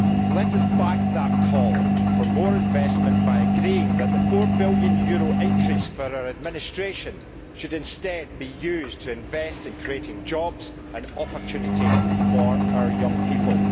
Let us back that call for more investment by agreeing that the EUR 4 billion increase for our administration should instead be used to invest in creating jobs and opportunity for our young people.